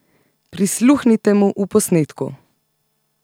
Prisluhnite mu v posnetku!